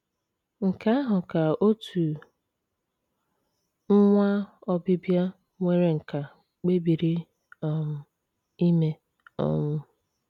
Nke ahụ ka otu nwa Obibịa nwere nkà kpebiri um ime um.